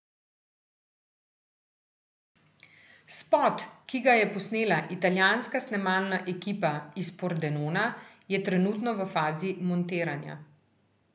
Spot, ki ga je posnela italijanska snemalna ekipa iz Pordenona, je trenutno v fazi montiranja.